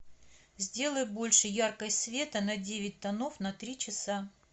сделай больше яркость света на девять тонов на три часа